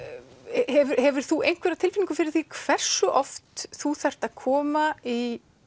hefur þú einhverja tilfinningu fyrir því hversu oft þú þarft að koma í